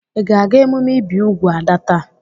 Ị ga-aga emume ibi úgwù Ada taa?